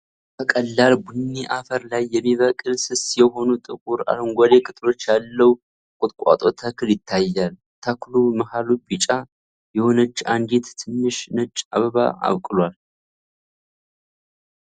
ከቀላል ቡኒ አፈር ላይ የሚበቅል፣ ስስ የሆኑ ጥቁር አረንጓዴ ቅጠሎች ያለው ቁጥቋጦ ተክል ይታያል። ተክሉ መሃሉ ቢጫ የሆነች አንዲት ትንሽ ነጭ አበባ አብቅሏል።